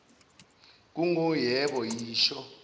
kungu yebo yisho